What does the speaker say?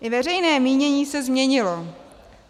I veřejné mínění se změnilo.